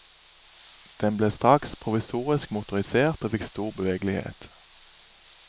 Den ble straks provisorisk motorisert og fikk stor bevegelighet.